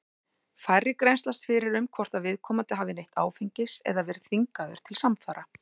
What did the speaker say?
Færri grennslast fyrir um hvort að viðkomandi hafi neytt áfengis eða verið þvingaður til samfara.